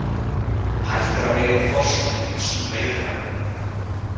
Hægt er að veiða þorsk með ýmsum veiðarfærum.